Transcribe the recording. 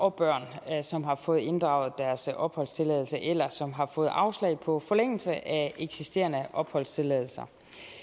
og børn som har fået inddraget deres opholdstilladelse eller som har fået afslag på forlængelse af eksisterende opholdstilladelser